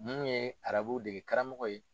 Anw ye arabuw dege karamɔgɔ ye.